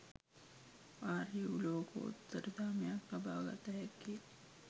ආර්ය වූ ලෝකෝත්තර ධර්මයක් ලබාගත හැක්කේ